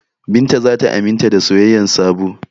Binta za ta aminta da soyayyar Sabo.